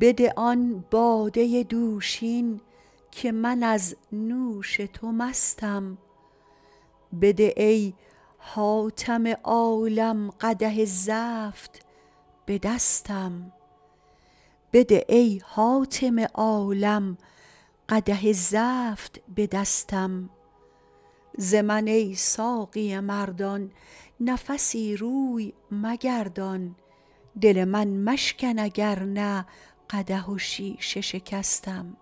بده آن باده دوشین که من از نوش تو مستم بده ای حاتم عالم قدح زفت به دستم ز من ای ساقی مردان نفسی روی مگردان دل من مشکن اگر نه قدح و شیشه شکستم